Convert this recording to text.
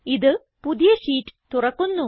ഇത് പുതിയ ഷീറ്റ് തുറക്കുന്നു